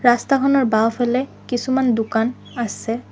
ৰাস্তাখনৰ বাওঁ ফালে কিছুমান দোকান আছে।